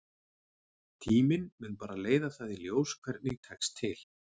Tíminn mun bara leiða það í ljós hvernig tekst til.